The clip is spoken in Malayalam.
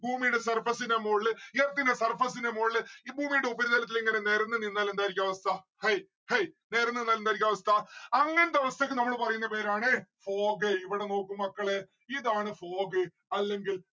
ഭൂമിയ്‌ടെ surface ന്റെ മോളില് earth ന്റെ surface ന്റെ മോളില് ഈ ഭൂമിയ്‌ടെ ഉപരിതലത്തിൽ ഇങ്ങനെ നെരന്നു നിന്ന എന്തായിരിക്കും അവസ്ഥ. ഹൈ ഹൈ നെരന്നു നിന്ന എന്തായിരിക്കും അവസ്ഥ അങ്ങനത്തെ അവസ്ഥക്ക് നമ്മള് പറയുന്ന പേരാണ് fog ഇവിടെ നോക്ക് മക്കളെ ഇതാണ് fog അല്ലെങ്കിൽ